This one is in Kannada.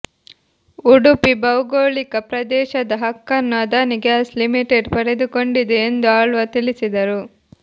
ಉಡುಪಿ ಭೌಗೋಳಿಕ ಪ್ರದೇಶದ ಹಕ್ಕನ್ನು ಅದಾನಿ ಗ್ಯಾಸ್ ಲಿಮಿಟೆಡ್ ಪಡೆದುಕೊಂಡಿದೆ ಎಂದು ಆಳ್ವ ತಿಳಿಸಿದರು